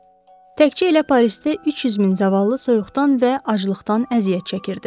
Təkcə elə Parisdə 300 min zavallı soyuqdan və aclıqdan əziyyət çəkirdi.